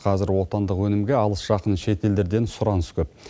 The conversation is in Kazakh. қазір отандық өнімге алыс жақын шетелдерден сұраныс көп